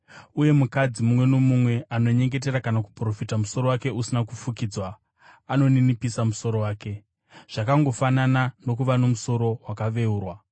Uye mukadzi mumwe nomumwe anonyengetera kana kuprofita musoro wake usina kufukidzwa, anoninipisa musoro wake, zvakangofanana nokuva nomusoro wakaveurwa.